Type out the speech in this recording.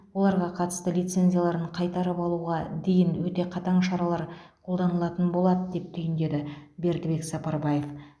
оларға қатысты лицензияларын қайтарып алуға дейін өте қатаң шаралар қолданылатын болады деп түйіндеді бердібек сапарбаев